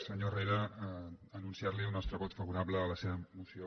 senyor herrera anunciar li el nostre vot favorable a la seva moció